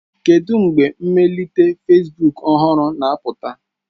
Kedu mgbe mmelite Fesbuk ọhụrụ na-apụta?